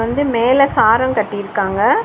இது வந்து மேல சாரங் கட்டிருக்காங்க.